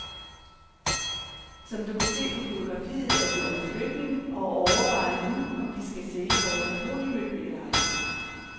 Som du kan se på fotografiet er vi under flytning, og overvejer nu om vi skal sælge vores mahognimøbel eller ej.